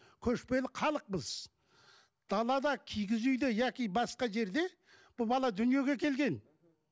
көшпелі халықпыз далада киіз үйде яки басқа жерде бұл бала дүниеге келген